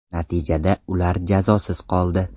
Natijada ular jazosiz qoldi.